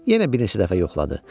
Yenə bir neçə dəfə yoxladı.